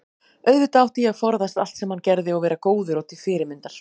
auðvitað átti ég að forðast allt sem hann gerði og vera góður og til fyrirmyndar.